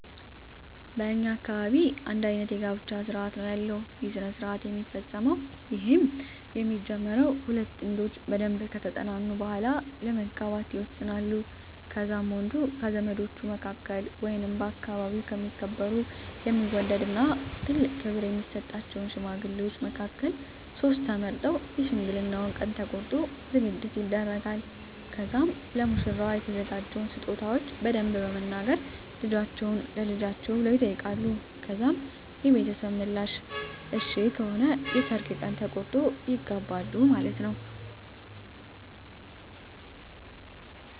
በእኛ አካባቢ አንድ አይነት የጋብቻ ስርአት ነው ያለው ይህ ስረሰአት የሚፈፀመዉ ይህም የሚጀመረው ሁለት ጥንዶች በደንብ ከተጠናኑ በሁዋላ ለመጋባት ይወሰናሉ ከዛም ወንዱ ከዘመዶቹ መካከል ወይንም በአከባቢው የሚከበሩ የሚወደድ እና ትልቆ ክብር የሚሰጣቸውን ሽማግሌዎች መካከልቨ ሶስት ተመርጠው የሽምግልናውን ቀን ተቆርጦ ዝግጅት ይደረጋል ከዛም ለሙሽራዋ የተዘጋጀውን ስጦታዎች በመያዝ ይኪዳል ከዛም ሽማግሌዎች ስለልጁ በደንብ በመናገር ልጃቹህን ለልጃችን ብለው ይጠይቃሉ ከዛም የቤተሰብ ምላሽ እሽ ከሆነ የሰርግ ቀን ተቆርጦ ይጋባሉ ማለትነወ።